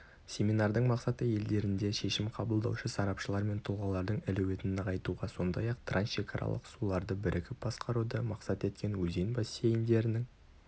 семинардың мақсаты елдерінде шешім қабылдаушы сарапшылар мен тұлғалардың әлеуетін нығайтуға сондай-ақ трансшекаралық суларды бірігіп басқаруды мақсат еткен өзен бассейндерінің